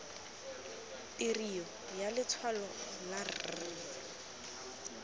tirio ya letshwalo la r